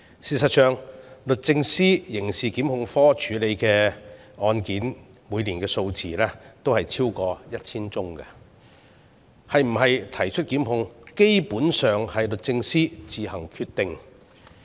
事實上，律政司刑事檢控科每年處理超過 1,000 宗案件，是否提出檢控，基本上由律政司自行決定。